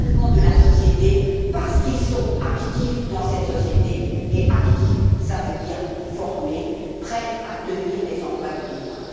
de la société, parce qu'ils sont actifs dans cette société, et actifs cela veut dire formés, prêts à tenir les emplois de demain.